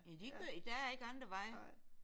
Ja det gør de der er ikke andre veje